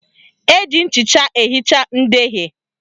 Eji nchịcha ehicha ndeghie